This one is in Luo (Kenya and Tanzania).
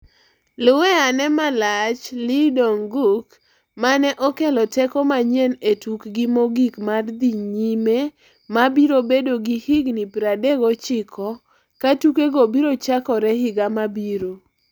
Luwe ane malach Lee Dong-gook mane okelo teko manyien e tukgi mogik mar dhi nyime mabiro bedo gi higni 39 katukego biro chakore higa mabiro.